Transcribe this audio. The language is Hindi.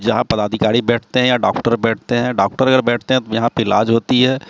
जहां पदाधिकारी बैठते हैं या डॉक्टर बैठते हैं डॉक्टर अगर बैठते हैं तो यहां पे इलाज होती है।